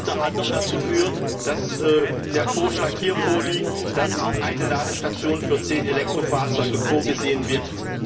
Was unter anderem dazu führt, dass der Vorschlag hier vorliegt, dass eine Ladestation für zehn Elektrofahrzeuge vorgesehen wird.